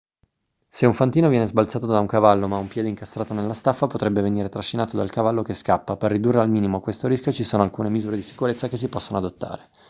se un fantino viene sbalzato da un cavallo ma ha un piede incastrato nella staffa potrebbe venire trascinato dal cavallo che scappa per ridurre al minimo questo rischio ci sono alcune misure di sicurezza che si possono adottare